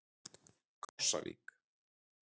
Krossavík